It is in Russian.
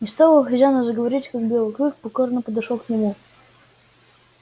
но стоило хозяину заговорить как белый клык покорно подошёл к нему